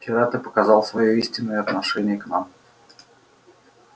вчера ты показал своё истинное отношение к нам